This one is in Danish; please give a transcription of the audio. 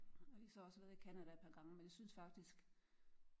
Vi har så også været i Canada et par gange men vi synes faktisk